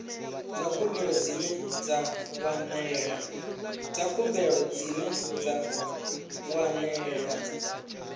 dza khumbelo dzine dza wanalea